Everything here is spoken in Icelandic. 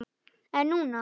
En núna.